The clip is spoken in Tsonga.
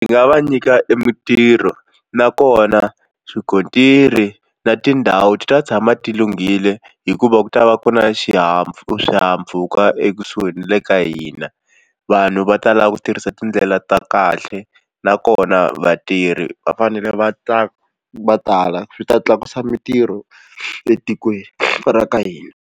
Ni nga va nyika e mintirho nakona swikontiri na tindhawu ti ta tshama ti lunghile hikuva ku ta va ku na swihahampfhuka ekusuhi na le ka hina vanhu va tala ku tirhisa tindlela ta kahle nakona vatirhi va fanele va ta va tala swi ta tlakusa mintirho etikweni ra ka hina.